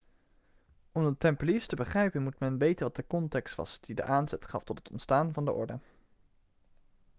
om de tempeliers te begrijpen moet men weten wat de context was die de aanzet gaf tot het ontstaan van de orde